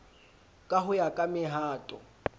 ka ho ya ka mehato